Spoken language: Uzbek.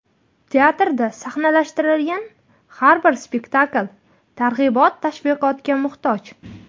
Teatrda sahnalashtirilgan har bir spektakl targ‘ibot-tashviqotga muhtoj.